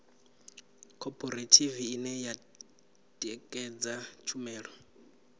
khophorethivi ine ya ṋekedza tshumelo